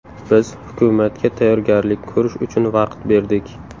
Biz hukumatga tayyorgarlik ko‘rish uchun vaqt berdik.